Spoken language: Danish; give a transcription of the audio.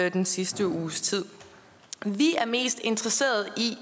i den sidste uges tid vi er mest interesseret i